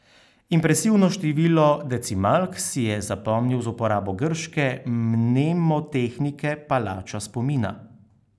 Impresivno število decimalk si je zapomnil z uporabo grške mnemotehnike palača spomina.